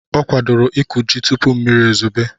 Ọ kwadoro ịkụ ji tupu mmiri ezobe.